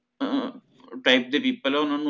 ਅਹ type ਦੇ people ਹੈ ਓਹਨਾਂ ਨੂੰ